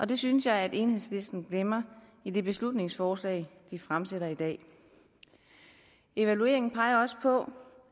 det synes jeg enhedslisten glemmer i det beslutningsforslag de fremsætter i dag evalueringen peger på